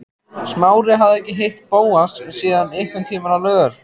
Smári hafði ekki hitt Bóas síðan einhvern tíma á laugar